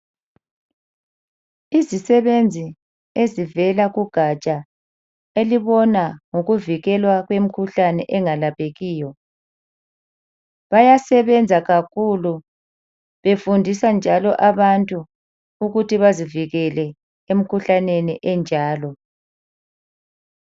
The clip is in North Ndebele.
Izisebenzi ezivela kugatsha elibona ngokuvikelwa kwemikhuhlane engalaphekiyo. Bayasebenza kakhulu befundisa njalo abantu ukuthi bazivikele emkhuhlaneni enjalo.